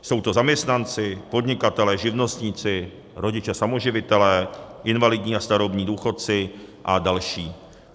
Jsou to zaměstnanci, podnikatelé, živnostníci, rodiče samoživitelé, invalidní a starobní důchodci a další.